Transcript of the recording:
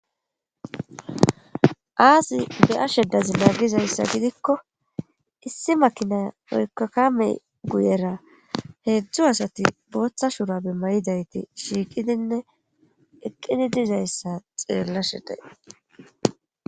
azii be'ashe dazi naagizayssa gidikko issi maakinay woykko kaamey guyera heedzdzu asati booththa shurabe mayidayti shiiqidinne eqqidi dizayssa xeellashe days